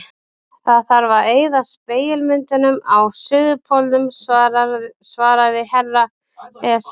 Það þarf að eyða spegilmyndunum á Suðurpólnum, svaraði herra Ezana.